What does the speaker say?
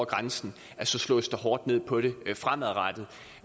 grænsen slås der hårdt ned på det fremadrettet